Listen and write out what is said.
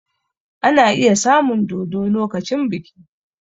Ana iya samun dodo lokacin biki